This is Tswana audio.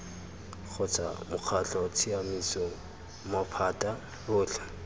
kgotsa mokgatlho tsamaiso maphata otlhe